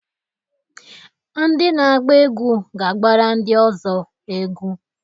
Ndị na-agba egwu ga-agbara ndi Ọzọ egwu.